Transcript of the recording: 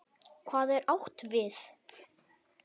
Hvað er átt við?